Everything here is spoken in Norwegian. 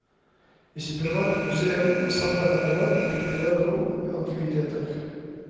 I sitt private museum har samleren etterhvert fylt flere rom med antikviteter.